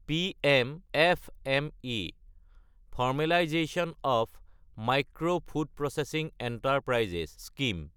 PM FME – formalisation of micro food processing enterprises scheme